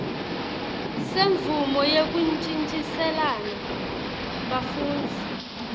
semvumo yekuntjintjiselana bafundzi